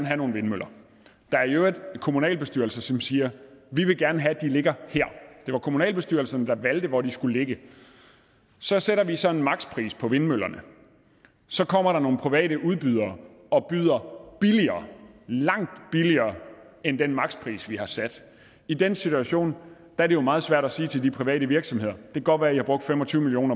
have nogle vindmøller der er i øvrigt kommunalbestyrelser som siger vi vil gerne have at de ligger her det var kommunalbestyrelserne der valgte hvor de skulle ligge så sætter vi så en makspris på vindmøllerne så kommer der nogle private udbydere og byder billigere langt billigere end den makspris vi har sat i den situation er det jo meget svært at sige til de private virksomheder det kan godt være i har brugt fem og tyve million